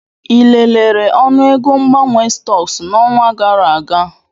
Ị lelere ọnụego mgbanwe stọks n'ọnwa gara aga?